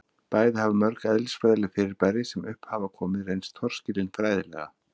bæði hafa mörg eðlisfræðileg fyrirbæri sem upp hafa komið reynst torskilin fræðilega